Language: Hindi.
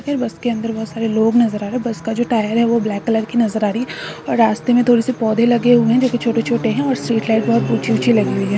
मुझे बस के अंदर बहुत सारे लोग नजर आ रही है बस का जो टायर है वह ब्लैक कलर की नजर आ रही है और रास्ते में थोड़ी से पौधे लगे हुए है जैसे छोटे-छोटे हैं स्ट्रीट लाइट बहुत ऊंची-ऊंची लगी हुई है।